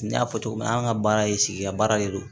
N y'a fɔ cogo min an ka baara ye sigida baara de don